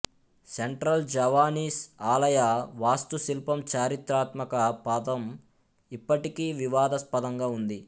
central Javanese ఆలయ వాస్తుశిల్పం చారిత్రాత్మక పథం ఇప్పటికీ వివాదాస్పదంగా ఉంది